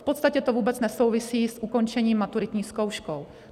V podstatě to vůbec nesouvisí s ukončením maturitní zkouškou.